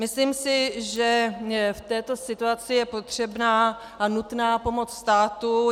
Myslím si, že v této situaci je potřebná a nutná pomoc státu.